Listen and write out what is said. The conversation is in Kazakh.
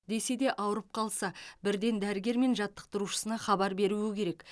десе де ауырып қалса бірден дәрігер мен жаттықтырушысына хабар беруі керек